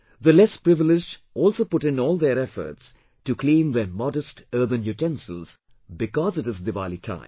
The less privileged also put in all their efforts to clean their modest earthen utensils because it is Diwali time